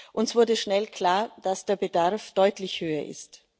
Uns wurde schnell klar, dass der Bedarf deutlich höher ist.